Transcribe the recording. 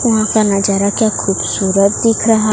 यहां का नजारा क्या खूबसूरत दिख रहा--